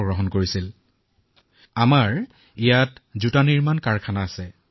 আমি জোতা নিৰ্মাণৰ কাম কৰো আমাৰ কাৰখানা আছে